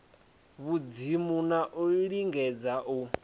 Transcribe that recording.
vhudzimu na u lingedza u